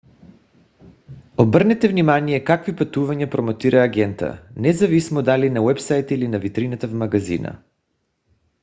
обърнете внимание какви пътувания промотира агентът независимо дали на уебсайта или на витрината в магазина